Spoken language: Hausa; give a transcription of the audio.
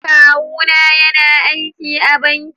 Kawu na yana aiki a banking.